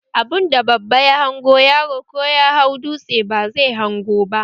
Abunda babba ya hango, yaro ko ya hau dutse ba zai hango ba